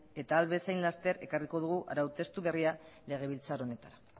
eta ahal bezain laster ekarriko dugu arau testu berria legebiltzar honetara